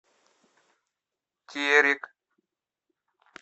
терек